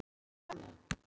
Var erfitt að fá hana?